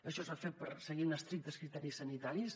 això es va fer seguint estrictes criteris sanitaris